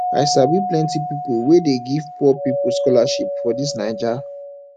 i sabi plenty pipu wey dey give poor pipu scholarship for dis naija